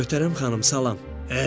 Möhtərəm xanım, salam.